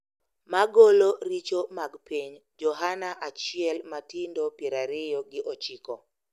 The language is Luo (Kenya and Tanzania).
Magolo richo mag piny,” Johana achiel matindo pier ariyo gi ochiko.